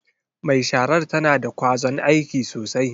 Mai sharar tana da kwazon aiki sosai.